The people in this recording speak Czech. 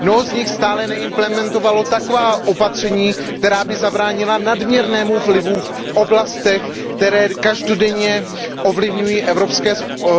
Mnoho z nich stále neimplementovalo taková opatření, která by zabránila nadměrnému vlivu v oblastech, které každodenně ovlivňují evropské